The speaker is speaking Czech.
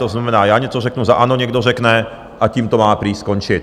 To znamená, já něco řeknu, za ANO někdo řekne, a tím to má prý skončit.